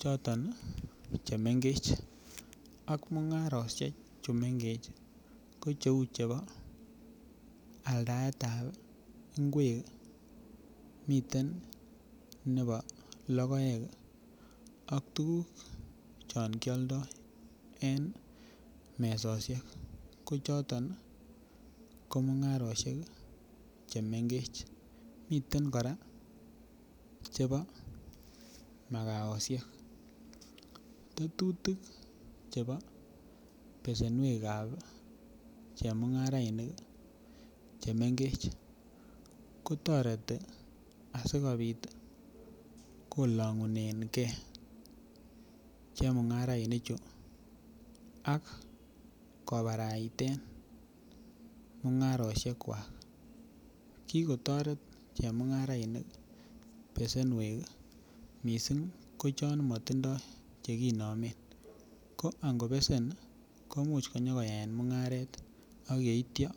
choto chemengech ak mungaroshek chuu mengech ko cheu chebo aldaetab ingwek miten koraa chebo makooshek. Tetutik chebo besenuekab chumungarainik chemengech kotoreti asikopit kolongunengee chemungarainik chuu ak kobaraiten mungaroshek kwak. Kikotoret chemungarainik besenuek missing ko chon motimdo chekenomen ko ngobese komuche konyokuyae mungarek ak yeityo.